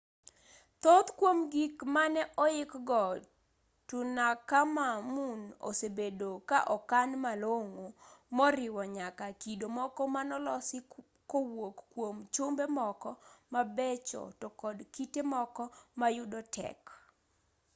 thoth kwom gik mane oikgo tutankhamun osebedo ka okan malong'o moriwo nyaka kido moko manolosi kowuok kwom chumbe moko mabecho to kod kite moko ma yudo tek